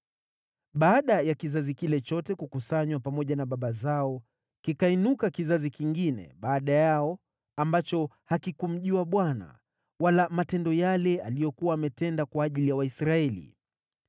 Baada ya kizazi kile chote kukusanywa pamoja na baba zao, kikainuka kizazi kingine baada yao ambacho hakikumjua Bwana , wala matendo yale aliyokuwa ametenda kwa ajili ya Waisraeli.